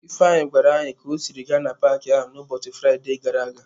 Ifeanyi gwara anyi ka o siri gaa n'paaki a n'ụbọchị Fraide gara aga.